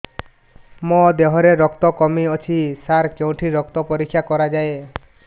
ମୋ ଦିହରେ ରକ୍ତ କମି ଅଛି ସାର କେଉଁଠି ରକ୍ତ ପରୀକ୍ଷା କରାଯାଏ